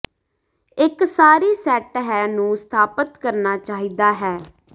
ਇੱਕ ਸਾਰੀ ਸੈੱਟ ਹੈ ਨੂੰ ਸਥਾਪਤ ਕਰਨਾ ਚਾਹੀਦਾ ਹੈ